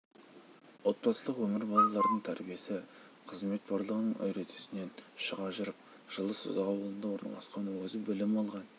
отбасылық өмір балалардың тәрбиесі қызмет барлығының үдесінен шыға жүріп жылы созақ ауылында орналасқан өзі білім алған